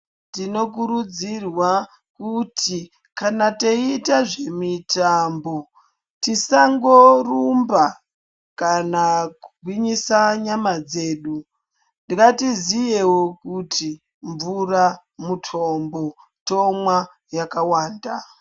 Tinokurudzirwa kuti kana teyiita zvemitambo tisangorumba kana kugwinyisa nyama dzedu ngatiziyewo kuti mvura mutombo tomwa yakwanda.